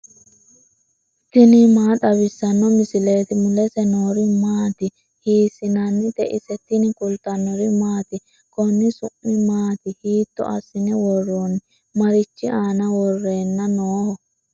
tini maa xawissanno misileeti ? mulese noori maati ? hiissinannite ise ? tini kultannori maati? Konni su'mi maati? hiitto assine woroonni? marichi aanna worrenna nooho?